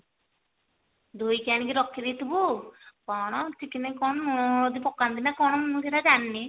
ଧୋଇକି ଆଣିକି ରଖି ଦେଇଥିବୁ କଣ chicken ରେ କଣ ଲୁଣ ହଳଦୀ ପକାନ୍ତି ନ କଣ ମୁଁ ସେଟା ଜାଣିନି